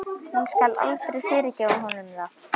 Hún skal aldrei fyrirgefa honum það.